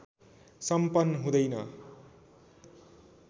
सम्पन हुँदैन